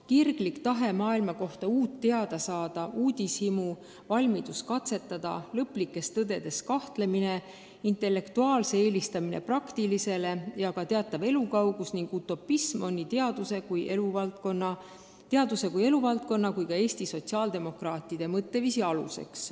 Kirglik tahe maailma kohta uut teada saada, uudishimu, valmidus katsetada, lõplikes tõdedes kahtlemine, intellektuaalse eelistamine praktilisele ja ka teatav elukaugus ning utopism on teaduse kui eluvaldkonna, aga ka Eesti sotsiaaldemokraatide mõtteviisi aluseks.